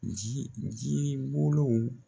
Ji ji bolow